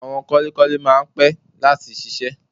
Àwọn kọ́lékọ́lé máa ń pẹ́ láti ṣiṣẹ́